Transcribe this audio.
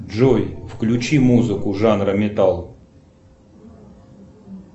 джой включи музыку жанра металл